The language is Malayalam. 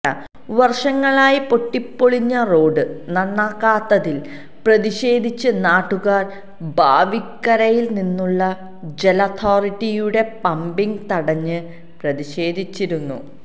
വര്ഷങ്ങളായി പൊട്ടിപ്പൊളിഞ്ഞ റോഡ് നന്നാക്കാത്തതില് പ്രതിഷേധിച്ച് നാട്ടുകാര് ബാവിക്കരയില് നിന്നുള്ള ജലഅതോറിറ്റിയുടെ പമ്പിങ് തടഞ്ഞ് പ്രതിഷേധിച്ചിരുന്നു